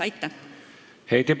Aitäh!